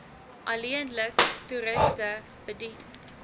alleenlik toeriste bedien